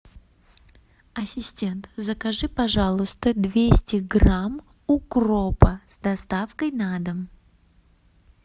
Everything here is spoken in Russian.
ассистент закажи пожалуйста двести грамм укропа с доставкой на дом